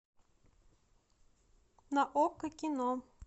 на окко кино